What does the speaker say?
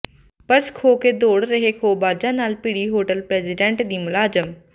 purse ਖੋਹ ਕੇ ਦੌੜ ਰਹੇ ਖੋਹਬਾਜ਼ਾਂ ਨਾਲ ਭਿੜੀ ਹੋਟਲ ਪ੍ਰੈਜ਼ੀਡੈਂਟ ਦੀ ਮੁਲਾਜ਼ਮ